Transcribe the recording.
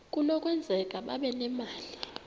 kunokwenzeka babe nemali